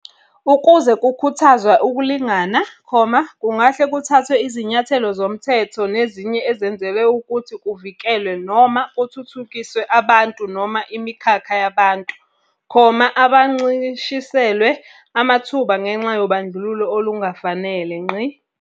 Ukuze kukhuthazwe ukulingana, kungahle kuthathwe izinyathelo zomithetho nezinye ezenzelwe ukuthi kuvikelwe noma kuthuthukiswe abantu noma imikhakha yabantu, abancishiselwe amathuba ngenxa yobandlululo olungafanele.